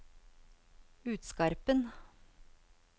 Utskarpen